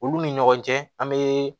Olu ni ɲɔgɔn cɛ an be